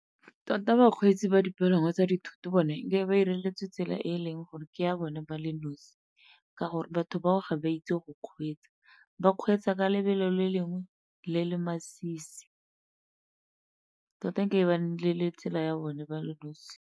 Tota bakgweetsi ba dipalangwa tsa dithoto bone nke be ba ba 'ireletse tsela e e leng gore ke ya bone ba le nosi ka gore batho bao ga ba itse go kgweetsa, ba kgweetsa ka lebelo le lengwe le le masisi. Tota e ke be ba nnile le tsela ya bone ba le nosi.